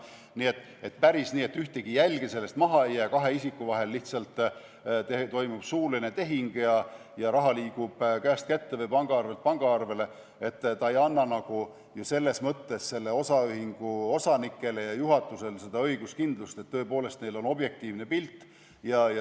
Nii et kui oleks päris nii, et ühtegi jälge sellest maha ei jää, kahe isiku vahel lihtsalt toimub suuline tehing ja raha liigub käest kätte või pangaarvelt pangaarvele, siis see ei annaks osaühingu osanikele ja juhatusele õiguskindlust, et tõepoolest neil on objektiivne pilt.